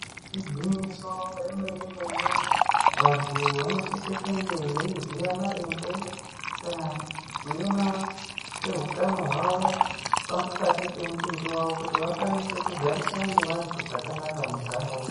Igwinyiso remene mene, vantu vanosise kunge veiziye maringe kana kuema kwehutano hwawo pakati pemutumbi wawo kuti vakwanise kugarisana nevantu zvakanaka muntaraunda.